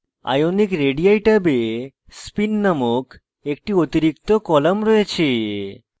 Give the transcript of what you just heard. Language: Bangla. ionic radii table spin named একটি অতিরিক্ত column রয়েছে